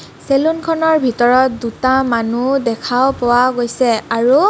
চেলুনখনৰ ভিতৰত দুটা মানুহ দেখাও পোৱা গৈছে আৰু--